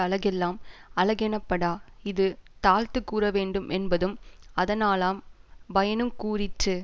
அழகெல்லாம் அழகெனப்படா இது தாழ்த்துக் கூறவேண்டு மென்பதும் அதனாலாம் பயனுங் கூறிற்று